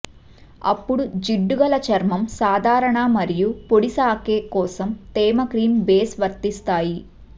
అప్పుడు జిడ్డుగల చర్మం సాధారణ మరియు పొడి సాకే కోసం తేమ క్రీమ్ బేస్ వర్తిస్తాయి